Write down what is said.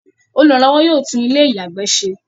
Olùrànlọ́wọ́ yóò tún ilé-ìyàgbẹ́ se.